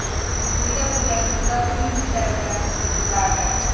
Uyda bo‘lganimizda uy yumushlari bilan kunimiz o‘tardi.